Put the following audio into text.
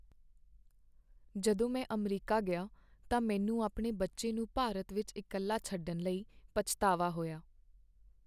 ਜਦੋਂ ਮੈਂ ਅਮਰੀਕਾ ਗਿਆ ਤਾਂ ਮੈਨੂੰ ਆਪਣੇ ਬੱਚੇ ਨੂੰ ਭਾਰਤ ਵਿੱਚ ਇਕੱਲਾ ਛੱਡਣ ਲਈ ਪਛਤਾਵਾ ਹੋਇਆ।